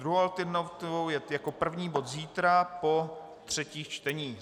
Druhou alternativou je jako první bod zítra po třetích čteních.